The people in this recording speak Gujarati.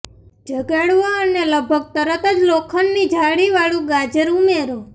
જગાડવો અને લગભગ તરત જ લોખંડની જાળીવાળું ગાજર ઉમેરો